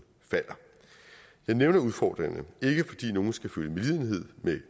falder jeg nævner udfordringerne ikke fordi nogen skal føle medlidenhed med